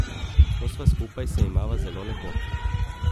Ko sva skupaj se imava zelo lepo.